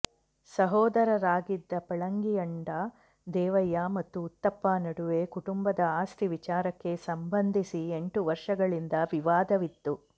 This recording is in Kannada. ಸಹೋದರರಾಗಿದ್ದ ಪಳಂಗಿಯಂಡ ದೇವಯ್ಯ ಮತ್ತು ಉತ್ತಪ್ಪ ನಡುವೆ ಕುಟುಂಬದ ಆಸ್ತಿ ವಿಚಾರಕ್ಕೆ ಸಂಬಂಧಿಸಿ ಎಂಟು ವರ್ಷಗಳಿಂದ ವಿವಾದವಿತ್ತು